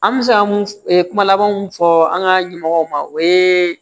An bɛ se ka mun kuma laban mun fɔ an ka ɲɛmɔgɔw ma o ye